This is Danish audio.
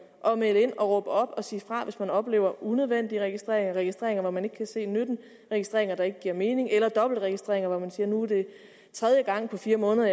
at melde ind og råbe op og sige fra hvis man oplever unødvendige registreringer registreringer som man ikke kan se nytten af registreringer der ikke giver mening eller dobbeltregistreringer hvor man siger nu er det tredje gang på fire måneder